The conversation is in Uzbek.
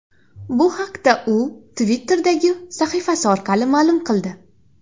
Bu haqda u Twitter’dagi sahifasi orqali ma’lum qildi .